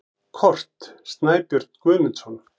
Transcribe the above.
Kort: Snæbjörn Guðmundsson.